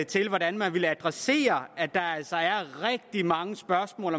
til hvordan man vil adressere at der altså er rigtig mange spørgsmål